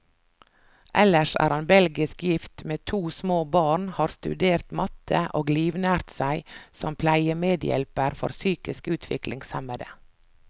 Ellers er han belgisk gift, med to små barn, har studert matte, og livnært seg som pleiemedhjelper for psykisk utviklingshemmede.